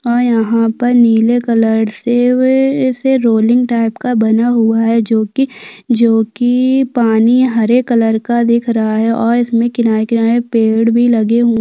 और यहाँ पर नीले कलर से इसे रोलिंग टाइप का बना हुआ है जोकि जोकि पानी हरे कलर का दिख रहा है और इसमें किनारे -किनारे पेड़ भी लगे हुए --